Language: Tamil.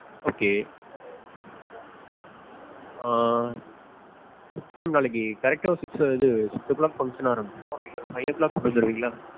okay ஆஹ் ma'am நாளைக்கு correct டா ஒரு six இது six o'clock function ஆரம்பிச்சிரும். நீங்க ஒரு five o'clock கொண்டு வந்து தருவீங்களா?